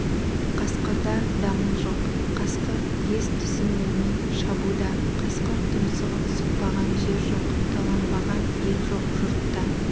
қасқырда дамыл жоқ қасқыр ес-түсін білмей шабуда қасқыр тұмсығын сұқпаған жер жоқ таланбаған ел жоқ жұртта